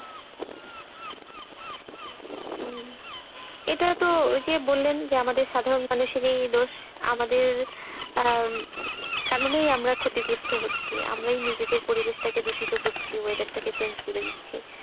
উম এটা তো এই যে বললেন যে আমাদের সাধারণ মানুষেরই দোষ। আমাদের আহ কারণেই আমরা ক্ষতিগ্রস্ত হচ্ছি আমরাই নিজেদের পরিবেশ টাকে দূষিত করছি weather change করে দিচ্ছি।